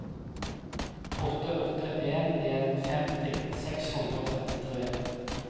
åtte åtte en en femti seks hundre og trettitre